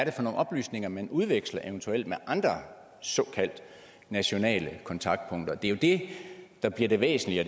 er for nogle oplysninger man udveksler eventuelt med andre såkaldte nationale kontaktpunkter det er det der bliver det væsentlige og